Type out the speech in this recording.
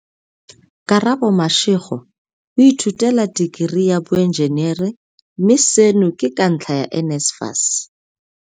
Karabo Mashego o ithutela tekerii ya boenjenere, mme seno ke ka ntlha ya NSFAS.